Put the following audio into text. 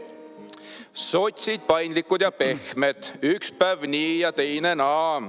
Sotsid, paindlikud ja pehmed, üks päev nii ja teine naa.